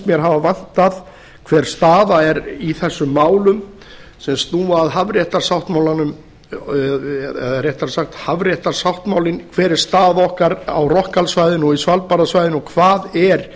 mér hafa vantað hver staða er í þessum málum sem snúa að hafréttarsáttmálanum eða réttara sagt hafréttarsáttmálinn hver er staða okkar á rockhall svæðinu og svalbarðasvæðinu og hvað er